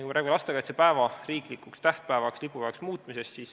Me räägime lastekaitsepäeva riiklikuks tähtpäevaks ja lipupäevaks muutmisest.